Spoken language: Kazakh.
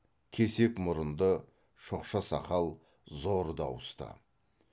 кесек мұрынды шоқша сақал зор дауысты